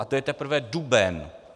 A to je teprve duben.